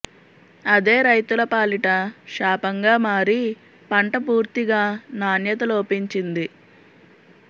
అదే రైతుల పాలిట శాపంగా మారి పంట పూర్తిగా నాణ్యత లోపించింది